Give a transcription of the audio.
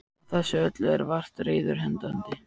Á þessu öllu eru vart reiður hendandi.